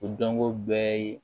O dɔnko bɛɛ ye